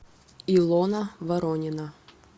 илона воронина